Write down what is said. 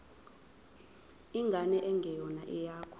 ingane engeyona eyakho